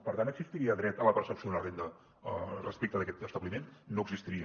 per tant existiria dret a la percepció d’una renda respecte a aquest establiment no existiria